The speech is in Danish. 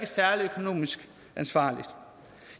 særlig økonomisk ansvarligt